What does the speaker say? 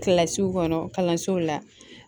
Kilasiw kɔnɔ kalansow la